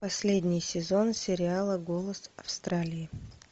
последний сезон сериала голос австралии